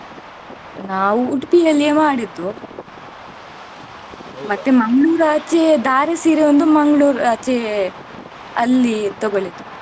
ನಾವು Udupi ಅಲ್ಲೇ ಮಾಡಿದ್ದು ಮತ್ತೆ Mangalore ದಾರೆ ಸೀರೆ ಒಂದು Mangalore ಆಚೆ ಅಲ್ಲಿ ತಗೊಳಿದ್ದು.